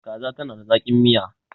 kaza tana da zaki. Miya